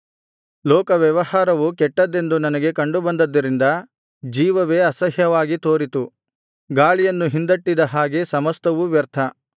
ಲೋಕ ವ್ಯವಹಾರವು ಕೆಟ್ಟದ್ದೆಂದು ನನಗೆ ಕಂಡುಬಂದದ್ದರಿಂದ ಜೀವವೇ ಅಸಹ್ಯವಾಗಿ ತೋರಿತು ಗಾಳಿಯನ್ನು ಹಿಂದಟ್ಟಿದ ಹಾಗೆ ಸಮಸ್ತವೂ ವ್ಯರ್ಥ